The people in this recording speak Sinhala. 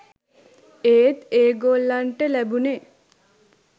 ඒත් ඒගොල්ලන්ට ලැබුණෙ